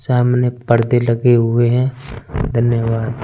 सामने परदे लगे हुए है धन्यवाद।